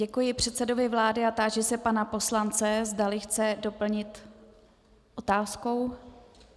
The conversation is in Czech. Děkuji předsedovi vlády a táži se pana poslance, zda chce doplnit otázkou.